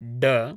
ड